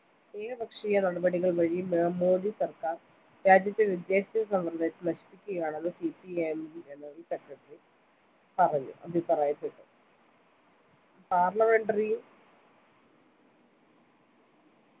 ഏകപക്ഷീയ നടപടികൾ വഴി മോഡിസർക്കാർ രാജ്യത്തെ വിദ്യാഭ്യാസസമ്പ്രദായത്തെ നശിപ്പിക്കുകയാണെന്ന്‌ CPIMgeneral secretary പറഞ്ഞു അഭിപ്രായപ്പെട്ടു parlimentary യും